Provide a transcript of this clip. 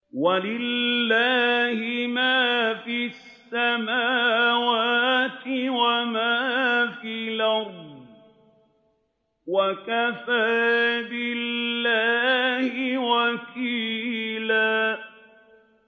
وَلِلَّهِ مَا فِي السَّمَاوَاتِ وَمَا فِي الْأَرْضِ ۚ وَكَفَىٰ بِاللَّهِ وَكِيلًا